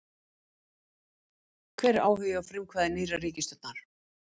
Hvar er áhugi og frumkvæði nýrrar ríkisstjórnar?